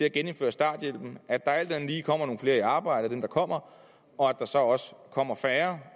at genindføre starthjælpen at der alt andet lige kommer nogle flere i arbejde af dem der kommer og at der så også kommer færre